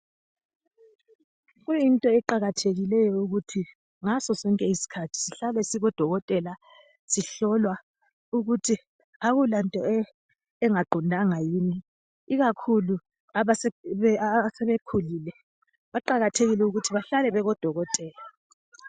Kuyinto eqakathekileyo ukuthi ngaso sonke isikhathi sihlale sikubodokotela sihlolwa ukuthi akulanto engaqondanga yini ikakhulu asebekhulile , baqakathekile ukuthi bahlale bekubodokotela.